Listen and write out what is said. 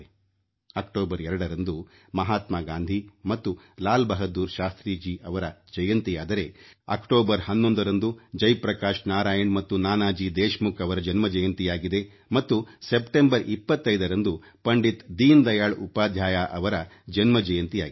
October ಎರಡರಂದು ಮಹಾತ್ಮಾ ಗಾಂಧಿ ಮತ್ತು ಲಾಲ್ ಬಹದ್ದೂರ್ ಶಾಸ್ತ್ರೀಜಿಯವರ ಜಯಂತಿಯಾದರೆ ಅಕ್ಟೋಬರ್ ಹನ್ನೊಂದರಂದು ಜಯಪ್ರಕಾಶ್ ನಾರಾಯಣ್ ಮತ್ತು ನಾನಾಜಿ ದೇಶಮುಖ್ ಅವರ ಜಯಂತಿಯಾಗಿದೆ ಮತ್ತು ಸೆಪ್ಟೆಂಬರ್ 25ರಂದು ಪಂಡಿತ್ ದೀನದಯಾಳ್ ಉಪಾಧ್ಯಾಯರವರ ಜಯಂತಿಯಾಗಿದೆ